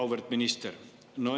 Auväärt minister!